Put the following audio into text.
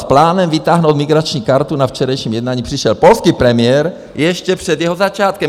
S plánem vytáhnout migrační kartu na včerejším jednání přišel polský premiér ještě před jeho začátkem.